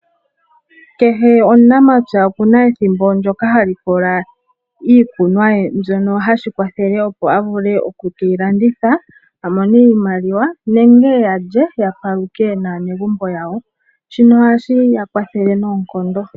Kehe omunamapya okuna ethimbo ndjoka hali likola iikunwa ye mbyoka, shono hashi kwathele opo okuyilanditha amone iimaliwa nenge alye yapaluke naanegumbo yawo. Shino ohashi ya kwathele noonkondo.